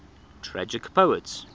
tragic poets